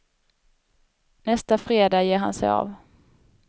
Nästa fredag ger han sig av.